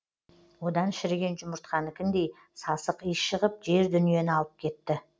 одан шіріген жұмыртқанікіндей сасық иіс шығып жер дүниені алып кетті